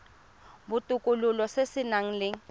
botokololo se se nang le